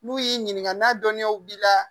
N'u y'i ɲininka n'a dɔnniyaw b'i la